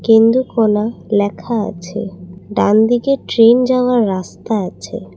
কেন্দ্রকোনা লেখা আছে ডানদিকে ট্রেন যাওয়ার রাস্তা আছে।